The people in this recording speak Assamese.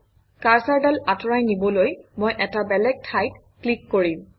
কাৰচৰডাল আঁতৰাই নিবলৈ মই এটা বেলেগ ঠাইত ক্লিক কৰিম